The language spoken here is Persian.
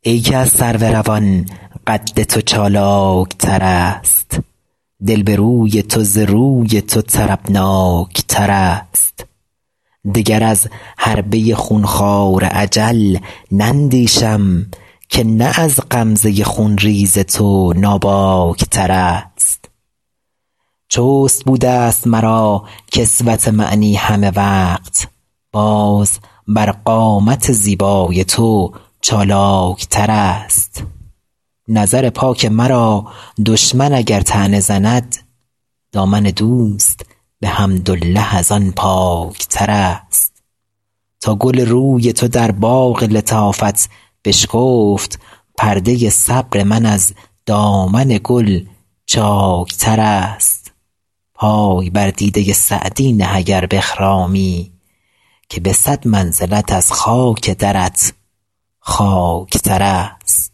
ای که از سرو روان قد تو چالاک ترست دل به روی تو ز روی تو طربناک ترست دگر از حربه خون خوار اجل نندیشم که نه از غمزه خون ریز تو ناباک ترست چست بوده ست مرا کسوت معنی همه وقت باز بر قامت زیبای تو چالاک ترست نظر پاک مرا دشمن اگر طعنه زند دامن دوست به حمدالله از آن پاک ترست تا گل روی تو در باغ لطافت بشکفت پرده صبر من از دامن گل چاک ترست پای بر دیده سعدی نه اگر بخرامی که به صد منزلت از خاک درت خاک ترست